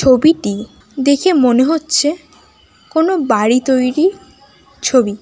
ছবিটি দেখে মনে হচ্ছে কোন বাড়ি তৈরী ছবি।